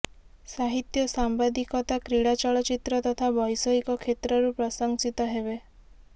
ସାହିତ୍ୟ ସାମ୍ବାଦିକତା କ୍ରୀଡ଼ା ଚଳଚ୍ଚିତ୍ର ତଥା ବୈଷୟିକ କ୍ଷେତ୍ରରୁ ପ୍ରଶଂସିତ ହେବେ